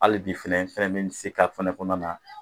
Hali bi fɛnɛ ifɛn tɛ yen min bɛ se ka kɔnɔna na